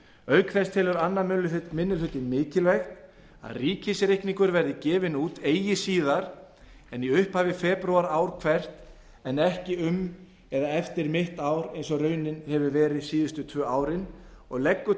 auk þess telur annar minni hluti mikilvægt að ríkisreikningur verði gefinn út eigi síðar en í upphafi febrúar ár hvert en ekki um eða eftir mitt ár eins og raunin hefur verið síðustu tvö árin og leggur